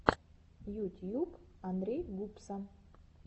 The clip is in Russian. ютьюб андрей гупса